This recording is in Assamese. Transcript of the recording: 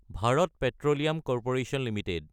Bharat petroleum corporation Ltd